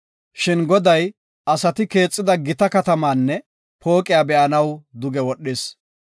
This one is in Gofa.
Shin Goday asati keexida gita katamaanne pooqiya be7anaw duge wodhis.